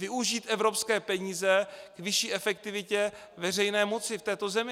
Využít evropské peníze k vyšší efektivitě veřejné moci v této zemi.